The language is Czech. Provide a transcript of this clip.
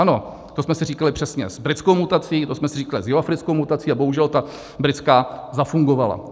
Ano, to jsme si říkali přesně s britskou mutací, to jsme si říkali s jihoafrickou mutací a bohužel, ta britská zafungovala.